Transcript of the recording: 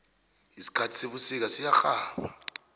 isikhathi sebusika siyarhaba